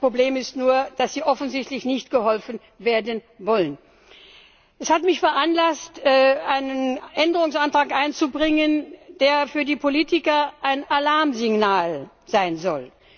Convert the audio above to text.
Das Problem ist nur, dass sie offensichtlich nicht wollen, dass man ihnen hilft. Das hat mich veranlasst, einen Änderungsantrag einzubringen, der für die Politiker ein Alarmsignal sein soll.